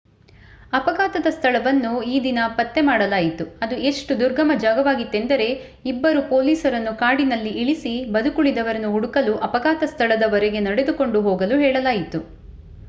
ಅಫಘಾತದ ಸ್ಥಳವನ್ನು ಈ ದಿನ ಪತ್ತೆ ಮಾಡಲಾಯಿತು ಅದು ಎಷ್ಟು ದುರ್ಗಮ ಜಾಗವಾಗಿತ್ತೆಂದರೆ ಇಬ್ಬರು ಪೋಲೀಸರನ್ನು ಕಾಡಿನಲ್ಲಿ ಇಳಿಸಿ ಬದುಕುಳಿದವರನ್ನು ಹುಡುಕಲು ಅಪಘಾತದ ಸ್ಥಳದವರೆಗೆ ನಡೆದುಕೊಂಡು ಹೋಗಲು ಹೇಳಲಾಯಿತು